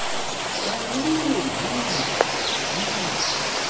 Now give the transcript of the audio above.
encwina mh mh